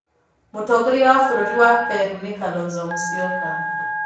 Mũtongoria wa bũrũri wa Peru nĩ Kalonzo Musyoka.